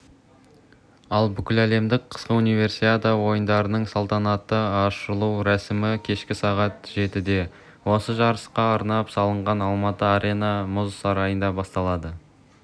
ал бүкіләлемдік қысқы универсиада ойындарының салтанатты ашылу рәсімі кешкі сағат жетіде осы жарысқа арнап салынған алматы-арена мұз сарайында басталады